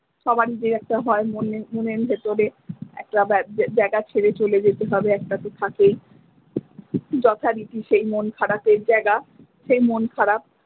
সবারই যে একটা হয় একটা মনের ভেতরে একটা জায়গা ছেড়ে চলে যেতে হবে এটাতো থাকেই যথারীতি সেই মন খারাপের জায়গা সেই মন খারাপ।